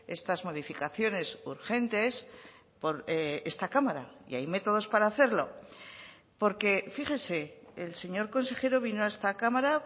estas modificaciones urgentes por esta cámara y hay métodos para hacerlo porque fíjese el señor consejero vino a esta cámara